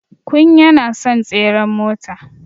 Kun yana son tseren mota.